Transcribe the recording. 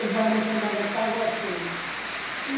O bairro chamava Caguassu.